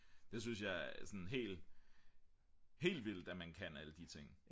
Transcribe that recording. det synes jeg sådan helt vildt at man kan alle de ting